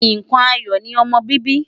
Nǹkan ayọ̀ ni ọmọ bíbí.